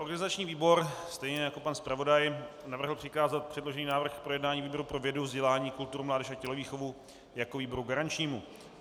Organizační výbor stejně jako pan zpravodaj navrhl přikázat předložený návrh k projednání výboru pro vědu, vzdělání, kulturu, mládež a tělovýchovu jako výboru garančnímu.